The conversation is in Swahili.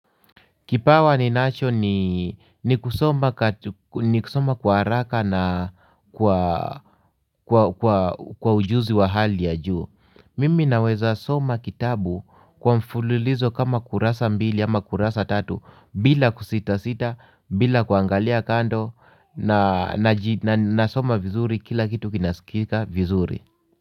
Kipawa ninacho ni kusoma kwa haraka na kwa ujuzi wa hali ya juu. Mimi naweza soma kitabu kwa mfululizo kama kurasa mbili ama kurasa tatu bila kusita sita bila kuangalia kando nasoma vizuri kila kitu kinasikika vizuri.